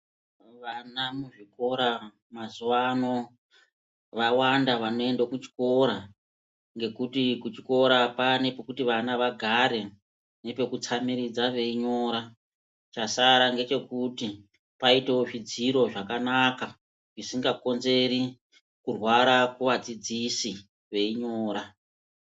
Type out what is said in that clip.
Vana muzvikora mazuwa ano, vawanda vanoenda kuchikora ngekuti kuchikora kwanekuti vana vagare nepekutsamiridza veinyora chasara ngechekuti paitewo zvidziro zvakanaka zvisingakonzeri kurwara kuva dzidzisi veinyora.